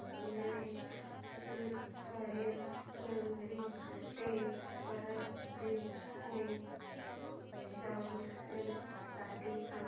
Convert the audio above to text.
railway Hazur Sahib Nanded ते Parbhani junction साठी सांगा